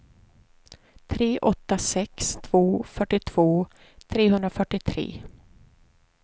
tre åtta sex två fyrtiotvå trehundrafyrtiotre